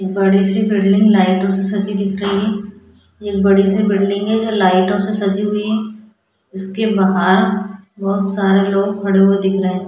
एक बड़ी सी बिल्डिंग लाइटों से सजी दिख रही है एक बड़ी सी बिल्डिंग है जो लाइटों से सजी हुई है इसके बाहर बहुत सारे लोग खड़े हुए दिख रहे हैं।